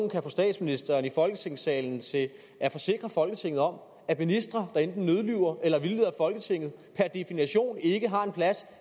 kan få statsministeren i folketingssalen til at forsikre folketinget om at ministre der enten nødlyver eller vildleder folketinget per definition ikke har en plads